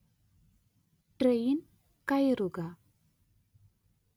train‍ കയറുക